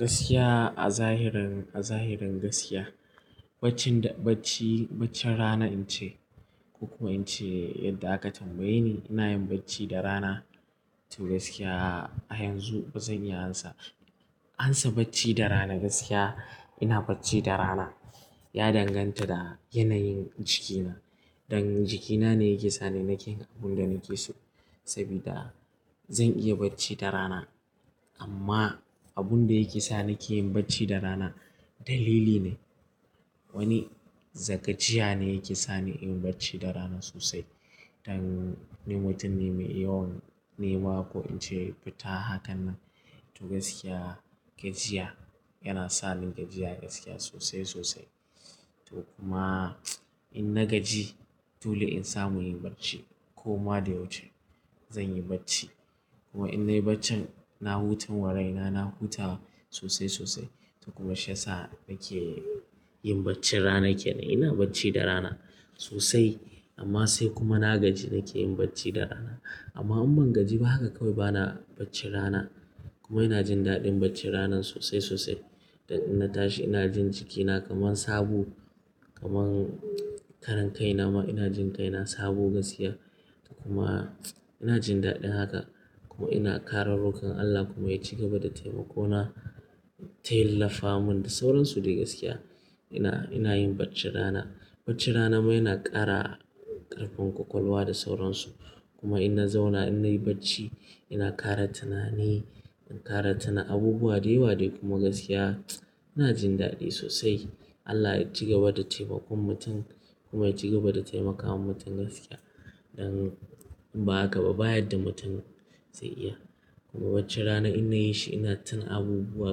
Gaskiya a zahirin, a zahirin gaskiya, bacci da bacci, baccin rana in ce ko kuma in ce yadda aka tambaye ni ina yin bacci da rana. To gaskiya a yanzu bazan iya amsa, ansa bacci da rana gaskiya ina bacci da rana. Ya danganta da yanayin jikina, dan jikina ne yake sani nake yin abin da nake so. Saboda zan iya bacci da rana amma abun da yake sa ni ke yin bacci da rana dalili ne. Wani zagajiya ne yake sa ni in yi bacci da rana sosai. Dan ni mutum ne mai yawan nema ko in ce fita haka nan. To gaskiya gajiya yana sa ni gajiya gaskiya sosai sosai. To kuma in na gaji dole in samu inyi bacci. Koma da yawanci zan yi bacci kuma in nayi baccin na hutan wa raina na huta sosai sosai. To kuma shi ya sa nake yin bacci rana kenan ina bacci da rana sosai amma sai kuma na gaji nake yin bacci da rana. Amma in ban gaji ba haka kawai bana bacci rana kuma ina jin daɗin bacci ranan sosai sosai. Dan ina tashi ina jin jikina kaman sabo kaman karan kai nama ina jin kaina sabo gaskiya. Kuma ina jin daɗin haka kuma ina kara rokon Allah kuma yaci gaba da taimako na tilafa mun da sauransu dai gaskiya ina, ina yin bacci rana. Bacci rana ma yana ƙara ƙarfin ƙwaƙwalwa da sauransu kuma ina zauna ina yi bacci ina ƙara tunani, in ƙara tuna abubuwa da yawa dai kuma gaskiya ina jin daɗi sosai. Allah ya ci gaba da taimakon mutum kuma ya ci gaba da taimakawa mutum gaskiya. Dan ba haka ba, ba yadda mutum zai iya kuma bacci rana in na yi shi ina tuna abubuwa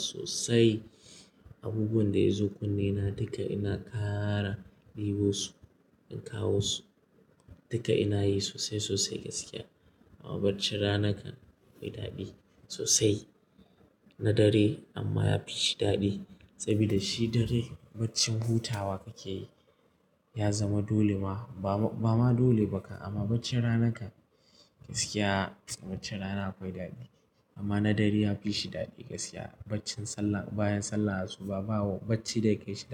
sosai. Abubuwan da ya zo kunne na duka ina ƙara ɗebo su in kawo su duka ina yi sosai sosai gaskiya. Amma bacci rana kan akwai daɗi sosai na dare amma yafi shi daɗi saboda shi dare bacci hutawa kake yi ya zama dole ma ba ma, ba ma dole ba kan amma bacci rana kan gaskiya baccin rana akwai daɗi amma na dare yafi shi daɗi gaskiya. Baccin sallah bayan sallah asuba bawo bacci da yake shi.